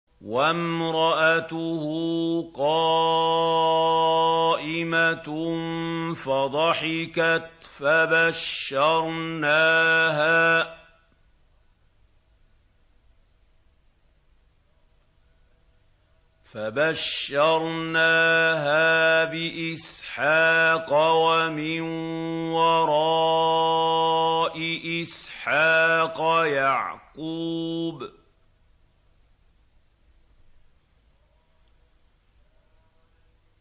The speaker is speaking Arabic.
وَامْرَأَتُهُ قَائِمَةٌ فَضَحِكَتْ فَبَشَّرْنَاهَا بِإِسْحَاقَ وَمِن وَرَاءِ إِسْحَاقَ يَعْقُوبَ